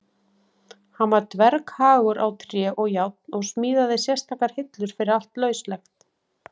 Hann var dverghagur á tré og járn og smíðaði sérstakar hillur fyrir allt lauslegt.